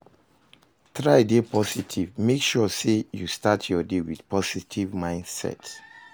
Try de positive, make sure say you start your day with positive mindset